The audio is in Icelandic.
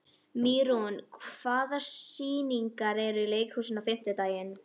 Mýrún, hvaða sýningar eru í leikhúsinu á fimmtudaginn?